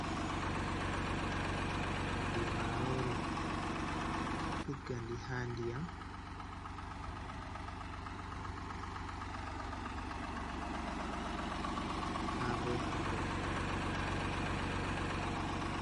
Audi marori ɓeɗo tiggandi ha ndiyam, ɓeɗo rema marori ɗo lira ɓe nyama ha bo pelle fere fere.